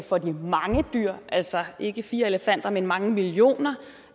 for de mange dyr altså ikke fire elefanter men mange millioner